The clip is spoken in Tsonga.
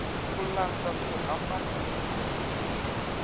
ku landza ku hambana loku